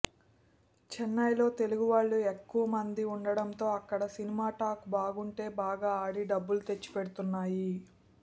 చెన్నైలో తెలుగు వాళ్లు ఎక్కువ మంది ఉండటంతో అక్కడ సినిమా టాక్ బాగుంటే బాగా ఆడి డబ్బులు తెచ్చిపెడుతున్నాయి